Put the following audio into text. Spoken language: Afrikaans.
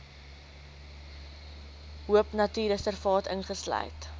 de hoopnatuurreservaat insluit